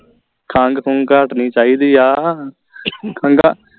ਖੰਗ ਖੁੰਗ ਹਟਣੀ ਚਾਹੀਦੀ ਆ ਖੰਗਾ